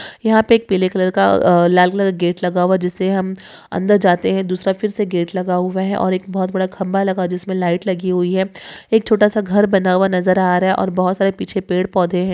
यहा पे एक पीले कलर का अ लाल कलर गेट लगा हुआ जिसे हम अंदर जाते है तो दूसरा फिरसे गेट लगा हुआ है और एक बहुत बड़ा खंबा लगा है जिसमे लाइट लगी हुई है एक छोटासा घर बना हुआ नज़र आ रहा है और बहोत सारे पिछे पेड़ पौधे है।